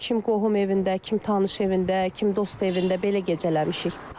Kim qohum evində, kim tanış evində, kim dost evində, belə gecələmişik.